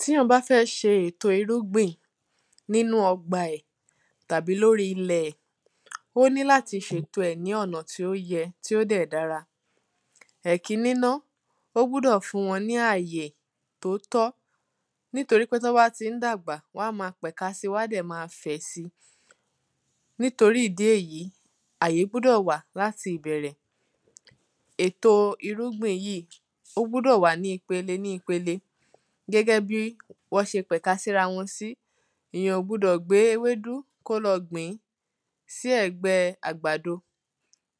tí èyàn bá fẹ́ ṣe èto irugbìn nínú ọgbà ẹ̀ tàbí lórí ilẹ̀ ẹ̀, ó ní láti ṣe ètò ẹ̀ ní ọ̀nà yẹ tí ó dẹ̀ dára ẹ̀kíní ná, ó gbúdọ̀ fún wọ́n ní àyè tóótọ́ nítorí pé tọ́n bá ti ń dàgbà wán máa pẹ̀ka si wán dẹ̀ máa fẹ̀ nítorí ìdí èyí, àyè gbúdọ̀ wà láti ìbẹ̀rẹ̀. èto irúgbìn yíìí, ó gbúdọ̀ wà ní ipele ní ipele gẹ́gẹ́bí wọ́n ṣe pẹ̀ka sí rawọn sí ìyàn ò gbúdọ̀ gbé ewédú sí ẹ̀gbẹ́ẹ àgbàdo.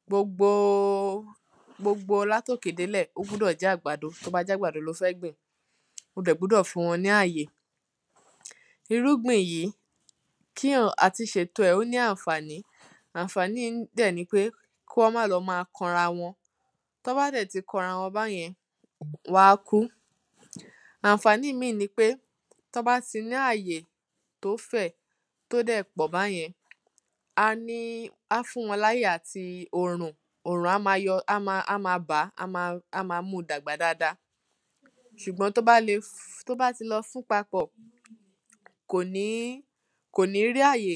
gbogbo, gbogbo látòkè délẹ̀ ó gbúdọ̀ jẹ́ àgbàdo tóbá jẹ́ àgbàdo ló fẹ́ gbìn. o dẹ̀ gbúdọ̀ fún wọn ní àyè. irúgbìn yìí kíyàn, àti ṣètò ẹ̀ ó ní ànfàní, ànfàní yìí dẹ̀ nipé kúwọ́n má lọ máa kanra wọn. tán bá dẹ̀ ti kanra wọn báyẹn wán kú. ànfàní míì nipé tán bá ti ní àyè tó fè̩, tó dè̩ pò̩ báye̩n, á ní, á fún láyè àti òrùn, òrùn á ma yo̩ á ma á ma bàá, á ma á ma múu dàgbà dada s̩ùgbó̩n tó bá le tó bá ti lo̩ fún papò̩, kò ní, kò ní rí àyè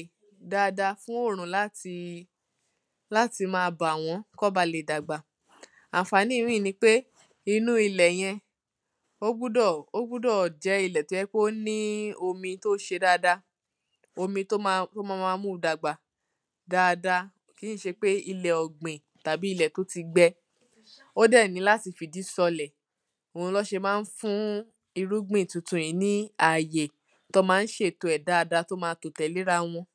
dáadáa fún òrùn láti láti máa bà wó̩n, kán ba lè dàgbà ànfàní ìmíì nipé inú ilè̩ ye̩n, ó gbúdò̩ ó gbúdò̩ jé̩ ilè̩ tó ní omi tó s̩e dáadáa, omi tó máa tó máa máa múu dàgbà dáadáa tí n s̩e pé ilè̩ ò̩gbìn tàbí ilè̩ tó ti gbe̩ ó dè̩ nílò láti fi ìdí so̩lè̩, òhun ló̩n s̩e máa ń fún irúgbìn yìí ní àyè, tó̩n ma ń s̩ètò è̩ dáadáa tó máa tò tè̩lé rawo̩n